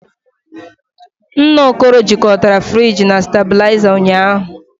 Nna Okoro jikọtara friji na stabilizer ụnyahụ